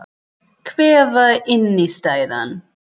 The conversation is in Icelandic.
Hver var innistæðan?